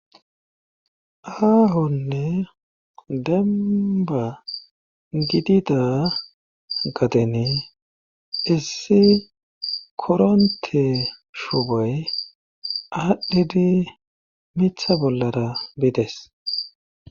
aahonne demba gidida gadeni issi koronte shuuboy aadhdhidi mitha bollara biides